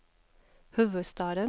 huvudstaden